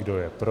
Kdo je pro?